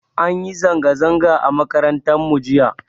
An yi zanga zanga a makaranta mu jiya